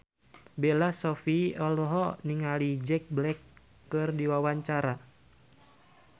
Bella Shofie olohok ningali Jack Black keur diwawancara